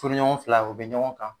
Furuɲɔgɔnw filaw bɛ ɲɔgɔn kan.